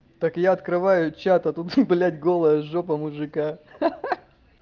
так я открываю чат а тут блядь голая жопа мужика ха-ха